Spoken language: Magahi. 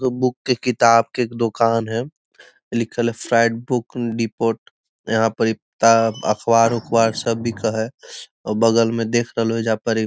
एगो बुक के किताब के दुकान है लिखल है फ्रेंड बुक डिपोट | यहाँ पड़ी किताब अख़बार उखबार सब बिक है और बगल में देख रहलो हे ऐजा पड़ी --